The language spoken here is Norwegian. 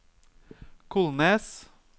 Kolnes